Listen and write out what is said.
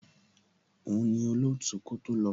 Òun ni olootu kó tó lọ.